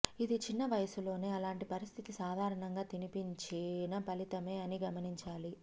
ఇది చిన్న వయసులోనే అలాంటి పరిస్థితి సాధారణంగా తినిపించిన ఫలితమే అని గమనించాలి